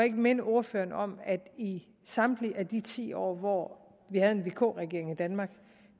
ikke minde ordføreren om at i samtlige af de ti år hvor vi havde en vk regering i danmark